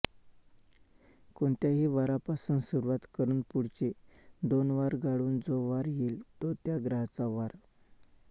कोणत्याही वारापासून सुरुवात करून पुढचे दोन वार गाळून जो वार येईल तो त्या ग्रहाचा वार